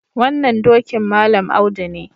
Wannan dokin Malam Audu ne.